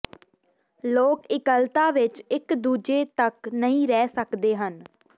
ਲੋਕ ਇਕੱਲਤਾ ਵਿਚ ਇਕ ਦੂਜੇ ਤੱਕ ਨਹੀ ਰਹਿ ਸਕਦੇ ਹਨ